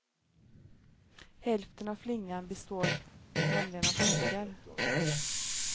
Hälften av flingan består nämligen av socker.